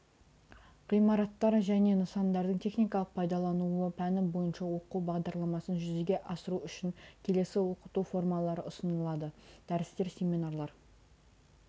ғимараттар және нысандардың техникалық пайдалануы пәні бойынша оқу бағдарламасын жүзеге асыру үшін келесі оқыту формалары ұсынылады дәрістер семинарлар